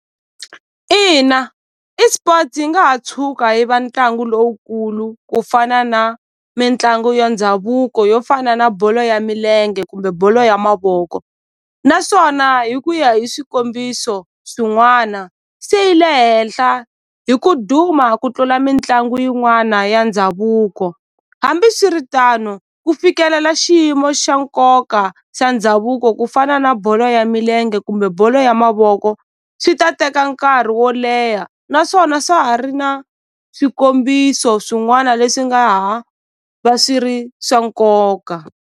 Ina eSports yi nga ha tshuka yi va ntlangu lowukulu ku fana na mitlangu ya ndhavuko yo fana na bolo ya milenge kumbe bolo ya mavoko naswona hi ku ya hi swikombiso swin'wana se yi le henhla hi ku duma ku tlula mitlangu yin'wana ya ndhavuko hambiswiritano ku fikelela xiyimo xa nkoka xa ndhavuko ku fana na bolo ya milenge kumbe bolo ya mavoko swi ta teka nkarhi wo leha naswona swa ha ri na swikombiso swin'wana leswi nga ha va swi ri swa nkoka.